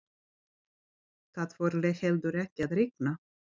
Það fór heldur ekki að rigna.